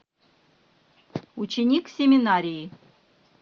ученик семинарии